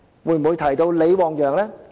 會否提及李旺陽？